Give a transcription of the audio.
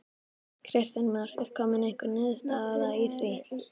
Kristján Már: Er komin einhver niðurstaða í því?